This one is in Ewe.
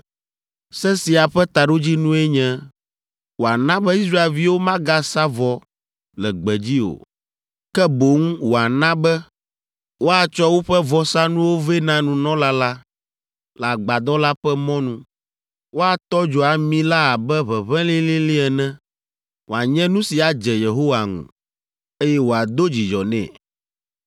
Se sia ƒe taɖodzinue nye wòana be Israelviwo magasa vɔ le gbedzi o, ke boŋ wòana be woatsɔ woƒe vɔsanuwo vɛ na nunɔla la le Agbadɔ la ƒe mɔnu, woatɔ dzo ami la abe ʋeʋẽ lĩlĩlĩ ene, wòanye nu si adze Yehowa ŋu, eye wòado dzidzɔ nɛ.